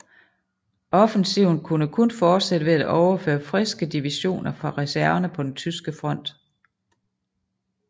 Offensiven kunne kun fortsættes ved at overføre friske divisioner fra reserverne på den tyske front